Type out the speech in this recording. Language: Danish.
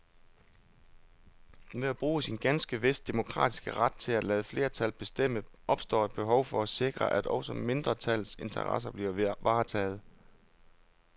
Ved at bruge sin, ganske vist demokratiske, ret til at lade flertal bestemme opstår et behov for at sikre, at også mindretallets interesser bliver varetaget.